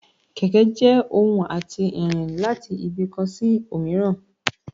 kẹkẹ je ohún atí rín latí ibi kán sí omìràn